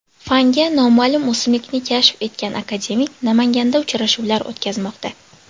Fanga noma’lum o‘simlikni kashf etgan akademik Namanganda uchrashuvlar o‘tkazmoqda.